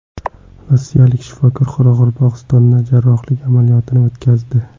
Rossiyalik shifokor Qoraqalpog‘istonda jarrohlik amaliyotini o‘tkazdi.